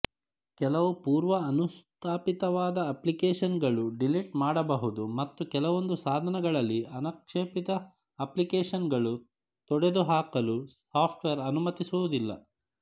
ಕೆಲವು ಪೂರ್ವ ಅನುಸ್ಥಾಪಿತವಾದ ಅಪ್ಲಿಕೇಶನ್ಗಳು ಡಿಲೀಟ್ ಮಾಡಬಹುದು ಮತ್ತು ಕೆಲವೊಂದು ಸಾಧನಗಳಲ್ಲಿ ಅನಪೇಕ್ಷಿತ ಅಪ್ಲಿಕೇಶನ್ಗಳು ತೊಡೆದುಹಾಕಲು ಸಾಫ್ಟ್ವೇರ್ ಅನುಮತಿಸುವುದಿಲ್ಲ